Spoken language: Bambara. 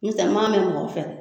N'i tɛ n ma mɛn mɔgɔ fɛ dɛ